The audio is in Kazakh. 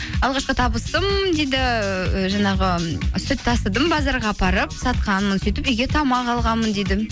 алғашқы табысым дейді і жаңағы сүт тасыдым базарға апарып сатқанмын сөйтіп үйге тамақ алғанмын дейді